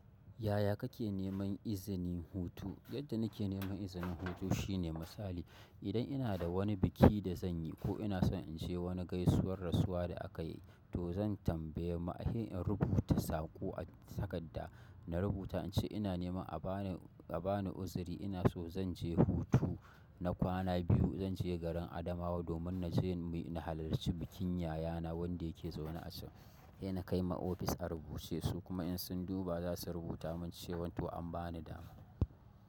Yaya kake neman izinin hutu? Yadda nike neman izinin hutu shine misali, idan ina da wani biki da zanyi ko ina son inje wani gaisuwar rasuwa da akayi to zan tambaye se in rubuta saƙo a takadda. Na rubuta ince ina neman a bani, a bani uzuri ina so zan je hutu na kwana biyu. Zan je garin Adamawa domin naje na halarci bikin yayana wadda yake zaune a can. Se na kai ma office a rubuce su kuma in sun duba za su rubuta min cewa to an bani dama.